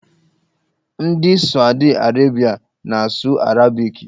Ndị Sawdi Arabịa na-asụ arabiki.